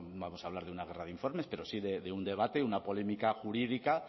vamos a hablar de una guerra de informes pero sí de un debate una polémica jurídica